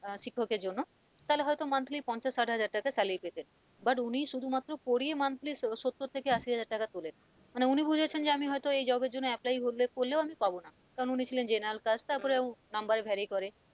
আহ শিক্ষকের জন্য তাহলে হয়তো monthly পঞ্চাশ, ষাট হাজার টাকা salary পেতেন but উনি শুধুমাত্র পড়িয়ে monthly সত্তর থেকে আসি হাজার টাকা তোলেন মানে উনি বুঝেছেন আমি হয়তো এই job এর জন্য apply হলে করলেও আমি পাব না কারণ উনি ছিলেন general caste আর তারপরেও number এ veri করেনি।